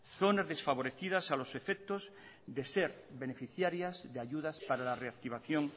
zonas desfavorecidas a los efectos de ser beneficiarias de ayudas para la reactivación